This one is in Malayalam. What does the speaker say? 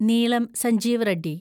നീളം സഞ്ജീവ റെഡ്ഡി